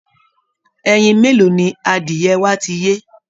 Ẹyin mélòó ni adìẹ wa ti yé?